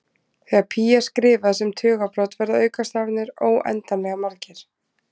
Þegar pí er skrifað sem tugabrot verða aukastafirnir óendanlega margir.